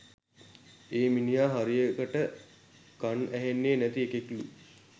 ඒ මිනිහ හරියකට කන් ඇහෙන්නෙ නැති එකෙක්ලු